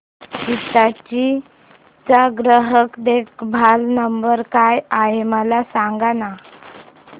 हिताची चा ग्राहक देखभाल नंबर काय आहे मला सांगाना